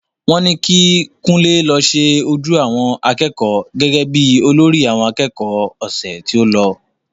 Wọ́n ní kí Kunle lọ ṣe ojú àwọn akẹ́kọ̀ọ́ gẹ́gẹ́ bí olórí àwọn akẹ́kọ̀ọ́ ọ̀sẹ̀ tí o lọ